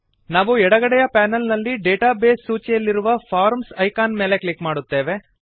ನಾವು ಎಡಗಡೆಯ ಪೆನಲ್ ನಲ್ಲಿ ಡೇಟಾ ಬೇಸ್ ಸೂಚಿಯಲ್ಲಿರುವ ಫಾರ್ಮ್ಸ್ ಐಕಾನ್ ಮೇಲೆ ಕ್ಲಿಕ್ ಮಾಡುತ್ತೇವೆ